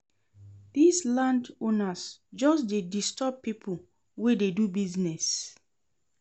Dese landowners just dey disturb pipo wey dey do business.